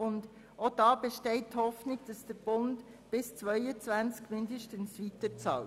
Auch diesbezüglich besteht Hoffnung, dass der Bund bis mindestens zum Jahr 2022 weiter bezahlt.